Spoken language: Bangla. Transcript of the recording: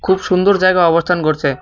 খুব সুন্দর জায়গা অবস্থান করছে।